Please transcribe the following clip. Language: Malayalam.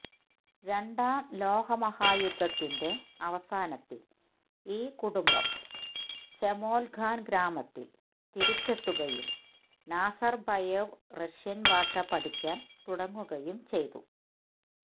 രണ്ടാം ലോകമഹായുദ്ധത്തിന്റെ അവസാനത്തിൽ ഈ കുടുംബം ചേമോൽഗാൻ ഗ്രാമത്തിൽ തിരിച്ചെത്തുകയും നാസർബയേവ് റഷ്യൻ ഭാഷ പഠിക്കാൻ തുടങ്ങുകയും ചെയ്തു